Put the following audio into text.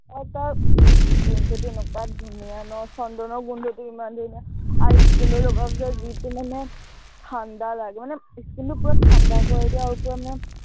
আৰু তাৰ ইচ গোন্ধটো এনেকুৱা ধুনীয়া ন, চন্দনৰ গোন্ধটো ইমান ধুনীয়া, আৰু skin ত লগোৱাৰ পিছত যিটো মানে ঠাণ্ডা লাগে, মানে skin টো পূৰা ঠাণ্ডা কৰি দিয়ে আৰু পূৰা মানে